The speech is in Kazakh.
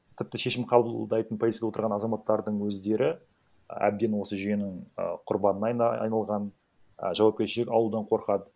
тіпті шешім қабылдайтын позицияда отырған азаматтардың өздері әбден осы жүйенің а құрбанына айналған ы жауапкершілік алудан қорқады